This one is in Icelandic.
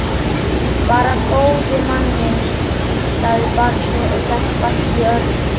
Bara góði manninn, sagði barnið og hélt fast í Örn.